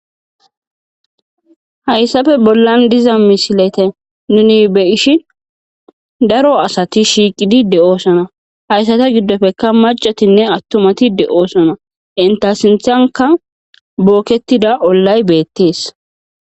Hayappe bollan diza misileta nuni be'ishin daro asati shiiqid de'osona, haysata gidoppeka macatinne atumati de'osona ,enta sinthanka booketida Olay betes